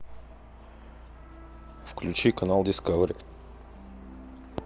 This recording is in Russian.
включи канал дискавери